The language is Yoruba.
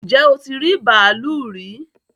Ǹjẹ́ o ti rí bàálù rí?